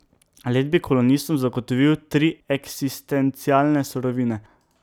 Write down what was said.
Led bi kolonistom zagotovil tri eksistencialne surovine.